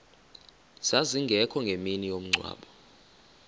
zazingekho ngemini yomngcwabo